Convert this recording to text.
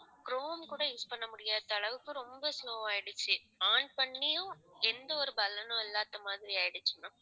chrome கூட use பண்ண முடியாத அளவுக்கு ரொம்ப slow ஆயிடுச்சு. on பண்ணியும் எந்த ஒரு பலனும் இல்லாத மாதிரி ஆயிடுச்சு ma'am